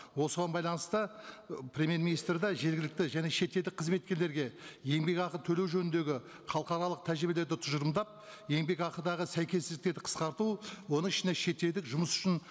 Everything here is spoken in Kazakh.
осыған байланысты і премьер министр де жергілікті және шетелдік қызметкерлерге еңбекақы төлеу жөніндегі халықаралық тәжірибелерді тұжырымдап еңбекақыдағы сәйкессіздіктерді қысқарту оның ішінде шетелдік жұмыс үшін